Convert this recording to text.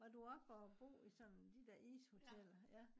var du oppe og bo i sådan de der ishoteller ja